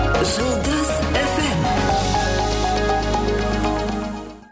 жұлдыз эф эм